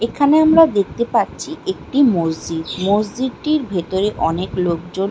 এখানে আমরা দেখতে পাচ্ছি একটি মসজিদ মসজিদটির ভেতরে অনেক লোকজন--